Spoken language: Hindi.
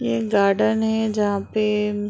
ये एक गार्डन है जहाँ पे म्म --